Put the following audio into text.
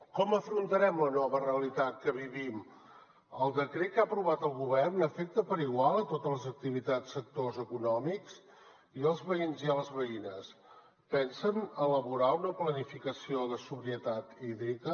com afrontarem la nova realitat que vivim el decret que ha aprovat el govern afecta per igual totes les activitats sectors econòmics i els veïns i les veïnes pensen elaborar una planificació de sobrietat hídrica